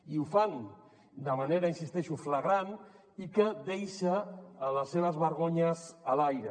i ho fan de manera hi insisteixo flagrant i que deixa les seves vergonyes a l’aire